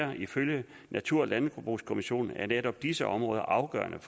og ifølge natur og landbrugskommissionen er netop disse områder afgørende